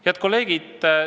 Head kolleegid!